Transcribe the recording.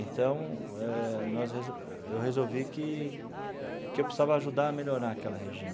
Então, eh nós reso eu resolvi que que eu precisava ajudar a melhorar aquela região.